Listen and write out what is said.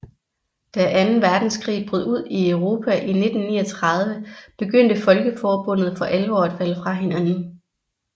Da anden verdenskrig brød ud i Europa i 1939 begyndte Folkeforbundet for alvor at falde fra hinanden